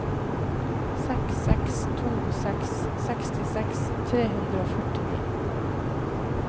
seks seks to seks sekstiseks tre hundre og førtini